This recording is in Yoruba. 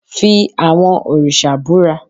fí awọn oriṣa búra!